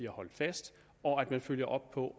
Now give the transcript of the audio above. holdt fast og at man følger op på